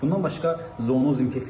Bundan başqa zonoz infeksiya var.